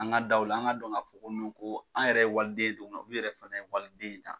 An ka daw la, an ka don ka fɔ ko ko an yɛrɛ ye waliden ye cogo min na olu yɛrɛ fana ye waliden ye tan.